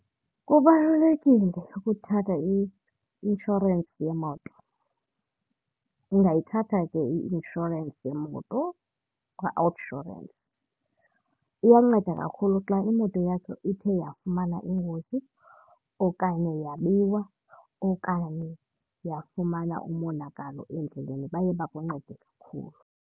Kubalulekile ukuthatha i-inshorensi yemoto. Ndingayithatha ke i-inshorensi yemoto kwaOUTsurance. Iyanceda kakhulu xa imoto yakho ithe yafumana ingozi okanye yabiwa okanye yafumana umonakalo endleleni, baye bakuncede kakhulu.